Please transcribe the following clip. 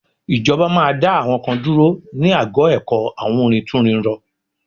Ìjọba máa dá àwọn kan dúró ní ago ẹ̀kọ́ awúrintúnrinrọ